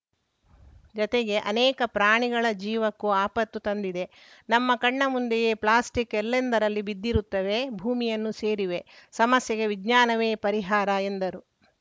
ಜತೆಗೆ ಅನೇಕ ಪ್ರಾಣಿಗಳ ಜೀವಕ್ಕೂ ಆಪತ್ತು ತಂದಿದೆ ನಮ್ಮ ಕಣ್ಣ ಮುಂದೆಯೇ ಪ್ಲಾಸ್ಟಿಕ್‌ ಎಲ್ಲೆಂದರಲ್ಲಿ ಬಿದ್ದಿರುತ್ತವೆ ಭೂಮಿಯನ್ನು ಸೇರಿವೆ ಸಮಸ್ಯೆಗೆ ವಿಜ್ಞಾನವೇ ಪರಿಹಾರ ಎಂದರು